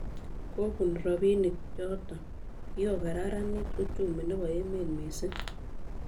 Kobun robinik choto, kikokararanit uchumi nebo emet misimg